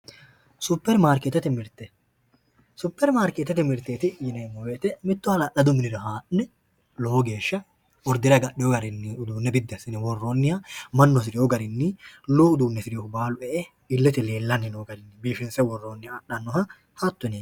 Supperimarkeettete mirte Supperimarkeettete mirteeti yineemmo woyiite mittu hala'ladu minira haa'ne lowo geeshsha ordere agadhino garinni uduunne biddi assine woroonniha mannu hasire garinni lowo udiinne adhannoha hatto yineemmo